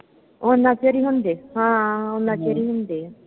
ਉਨ੍ਹਾਂ ਚਿਰ ਹੀ ਹੁੰਦੇ। ਹਾਂ, ਉਨ੍ਹਾਂ ਚਿਰ ਹੀ ਹੁੰਦੇ ਆ।